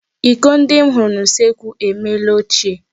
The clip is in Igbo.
Iko ndi m hụrụ n'usekwu emeela ochie.